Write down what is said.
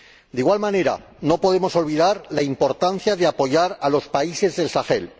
De igual manera, no podemos olvidar la importancia de apoyar a los países del Sahel.